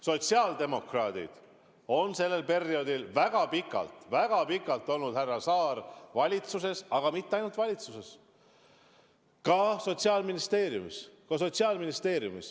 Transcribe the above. Sotsiaaldemokraadid on sellel perioodil, härra Saar, väga pikalt, väga pikalt valitsuses olnud ja mitte ainult valitsuses, ka Sotsiaalministeeriumis.